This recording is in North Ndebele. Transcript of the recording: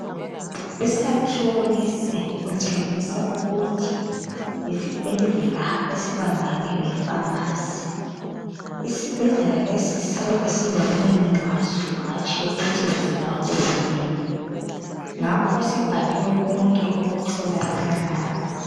Isakhiwo lesi kutshengisa ukuthi yisibhedlela esibambane le"pharmacy" .Isibhedlela lesi siyabe silomnini waso hatshi ukuthi ngesikahulumende ngakho sibhaliwe konke okutholakala lapha.